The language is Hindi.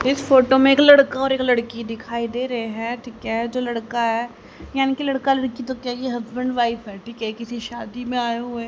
इस फोटो में एक लड़का और एक लड़की दिखाई दे रहे हैं ठीक है जो लड़का है यानी कि लड़का लड़की तो क्या ये हस्बैंड वाइफ है ठिक है किसी शादी में आए हुए--